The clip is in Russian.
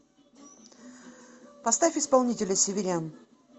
поставь исполнителя северян